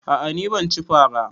A'a ni bana cin fara